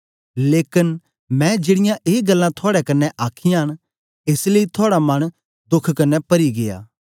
लेकन मैं जेड़ीयां ए गल्लां थुआड़े कन्ने आखीयां न एस लेई थुआड़ा मन दोख कन्ने परी गीया